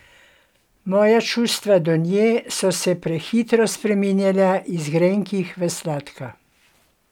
Moja čustva do nje so se prehitro spreminjala iz grenkih v sladka.